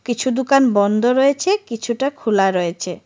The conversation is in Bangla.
কিছু দোকান বন্ধ রয়েছে কিছুটা খোলা রয়েছে।.